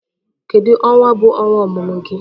Kedu Ọnwa bu ọnwa ọmụmụ gị?